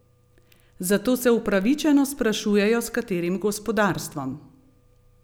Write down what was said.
Zato se upravičeno sprašujejo, s katerim gospodarstvom?